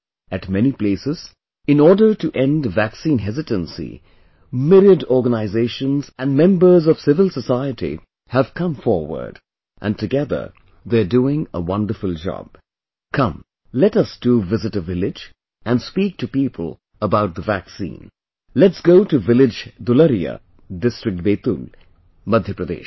At many places, in order to end vaccine hesitancy, myriad organizations and members of civil society have come forward...and together, they are doing a wonderful job... Come...let us too visit a village and speak to people about the vaccine...let's go to village Dulariya, district Betul, Madhya Pradesh